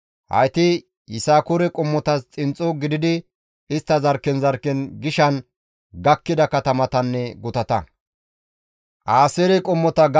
Hayti Yisakoore qommotas xinxxo gididi istta zarkken zarkken gishan gakkida katamatanne gutata.